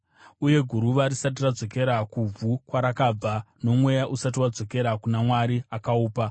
uye guruva risati radzokera kuvhu kwarakabva, nomweya usati wadzokera kuna Mwari akaupa.